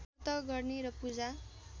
व्रत गर्ने र पूजा